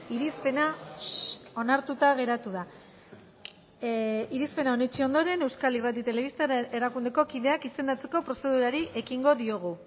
irizpena onartuta geratu da irizpena onetsi ondoren euskal irrati telebista erakundeko kideak izendatzeko prozedurari ekingo diogu